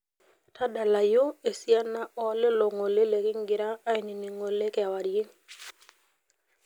tadalayu esiana ooo lelo ng'ole lekingira ainining ng'ole kiwarie